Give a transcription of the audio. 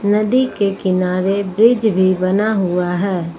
नदी के किनारे ब्रिज भी बना हुआ है।